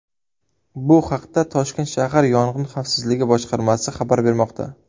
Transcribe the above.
Bu haqda Toshkent shahar yong‘in xavfsizligi boshqarmasi xabar bermoqda .